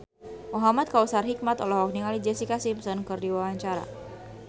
Muhamad Kautsar Hikmat olohok ningali Jessica Simpson keur diwawancara